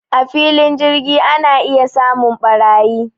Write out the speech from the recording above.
A filin jirgi ana iya samun ɓarayi